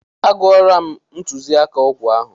A gụọla m ntụziaka ọgwụ ahụ.